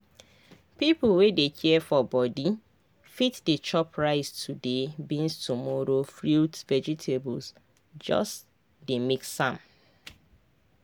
people wey dey care for body fit dey chop rice today beans tomorrow fruits veg—just dey mix am.